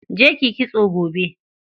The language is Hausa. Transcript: Je kiyi kitso gobe.